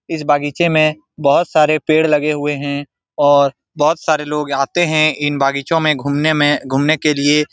इस बगीचे में बोहोत सारे पेड़ लगे हुए है और बोहोत सारे लोग आते है इन बगीचों मे घूमने मे घूमने के लिए।